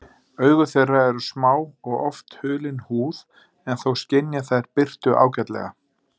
Augu þeirra eru smá og oft hulin húð en þó skynja þær birtu ágætlega.